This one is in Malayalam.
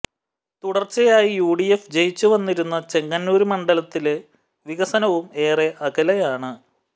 തുടര്ച്ചയായി യുഡിഎഫ് ജയിച്ചുവന്നിരുന്ന ചെങ്ങന്നൂര് മണ്ഡലത്തില് വികസനവും ഏറെ അകലെയാണ്